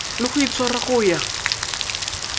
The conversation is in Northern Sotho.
le go itshwara go ya